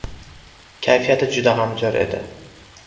Kayfiyati juda ham zo‘r edi.